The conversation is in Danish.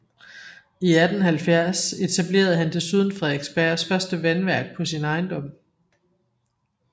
I 1870 etablerede han desuden Frederiksbergs første vandværk på sin ejendom